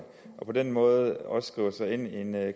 og på den måde også skriver sig ind i en